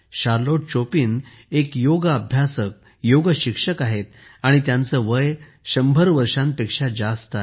Charlotte Chopa एक योग अभ्यासक आहेत योग शिक्षक आहेत आणि त्यांचे वय शंभर वर्षांपेक्षा जास्त आहे